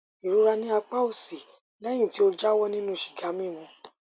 ìrora ní apá òsì lẹyìn tí ó jáwọ nínú sìgá mímu